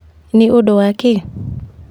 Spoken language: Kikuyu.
Nĩindũ wa kĩĩ?